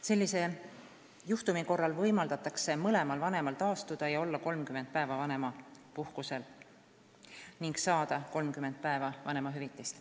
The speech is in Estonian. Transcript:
Sellise juhtumi korral võimaldatakse mõlemal vanemal taastuda ja olla 30 päeva vanemapuhkusel ning saada need 30 päeva vanemahüvitist.